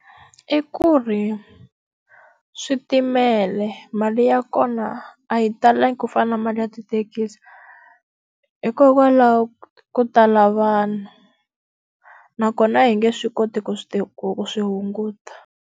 I ku ri, switimela mali ya kona a yi talangi ku fana na mali ya tithekisi, hikokwalaho ka ku tala vanhu. Nakona a hi nge swi koti ku swi ku swi hunguta.